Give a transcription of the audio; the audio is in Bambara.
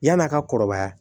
Yan'a ka kɔrɔbaya